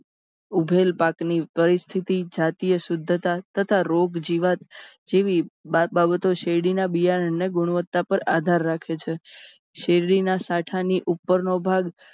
ઉભેલ પાકની પરિસ્થિતિ જાતીય શુધ્ધતા તથા રોગ જીવાત જેવી બાબતો શેરડીના બિયારણને ગુણવત્તા પર આધાર રાખે છે શેરડીના સાંઠાની ઉપરનો ભાગ